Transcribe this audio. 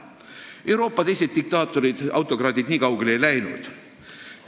Euroopa teised diktaatorid või autokraadid nii kaugele ei läinud.